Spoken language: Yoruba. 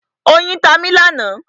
Oyin ta mi lánàá.